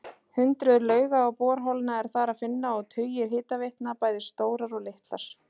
Hundruð lauga og borholna er þar að finna og tugir hitaveitna, bæði stórar og litlar.